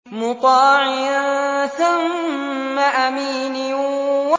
مُّطَاعٍ ثَمَّ أَمِينٍ